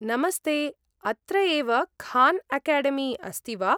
नमस्ते, अत्र एव खान् अकाडेमी अस्ति वा?